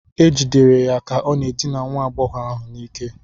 E jidere ya ka ọ na-edina nwa agbọghọ ahụ n'ike